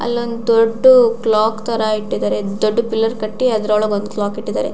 ಅಲ್ಲಿ ಒಂದು ದೊಡ್ಡ ಕ್ಲಾಕ್ ತರ ಕ್ಲಾಕ್ ಇಟ್ಟಿದಾರೆ ದೊಡ್ಡ್ ಪಿಲ್ಲರ್ ಕಟ್ಟಿ ಅದ್ರೊಳಗೆ ಒಂದು ಕ್ಲಾಕ್ ಇಟ್ಟಿದ್ದಾರೆ.